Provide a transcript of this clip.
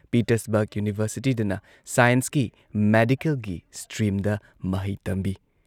Pittsburgh ꯌꯨꯅꯤꯚꯔꯁꯤꯇꯤꯗꯅ ꯁꯥꯏꯟꯁꯀꯤ, ꯃꯦꯗꯤꯀꯦꯜꯒꯤ ꯁ꯭ꯇ꯭ꯔꯤꯝꯗ ꯃꯍꯩ ꯇꯝꯕꯤ ꯫